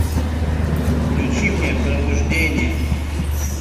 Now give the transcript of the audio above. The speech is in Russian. включи мне пробуждение